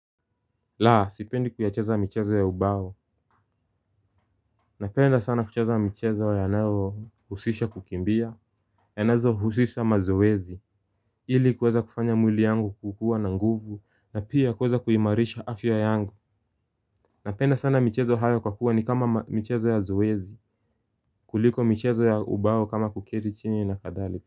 Laa, sipendi kuyacheza michezo ya ubao. Napenda sana kucheza michezo ya nao husisha kukimbia inayo husisha mazoezi. Ili kuweza kufanya mwili yangu kukuwa na nguvu na pia kuweza kuimalisha afya yangu. Napenda sana michezo hayo kwa kuwa ni kama michezo ya zoezi kuliko michezo ya ubao kama kuketi chini na kadhali.